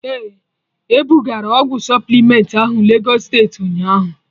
Ee, ebugara ọgwụ supplement ahụ Legọs steeti ụnyaahụ